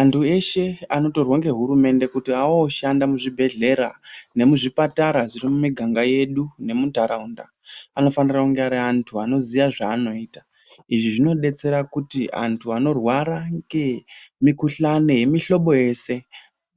Antu eshe anotorwa ngehurumende kuti aoshanda muzvibhedhlera nemuzvipatara zviri mumiganga yedu nemuntaraunda anofanirwa kunge ari antu anoziya zvaanoita, izvi zvinodetsera kuti anthu anorwara ngemikuhlani yemuhlobo yese